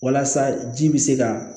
Walasa ji bɛ se ka